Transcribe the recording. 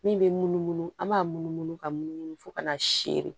Min bɛ munumunu an b'a munumunu ka munumunu fo ka n'a sere